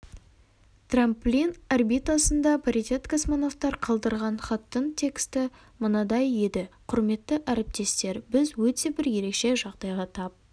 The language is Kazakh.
трамплин орбитасында паритет-космонавтар қалдырған хаттың тексті мынадай еді құрметті әріптестер біз өте бір ерекше жағдайға тап